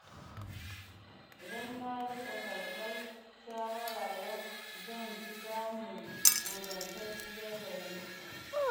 Idan na rika karɓar shawara yau, zan fi samun ingantacciyar fahimta.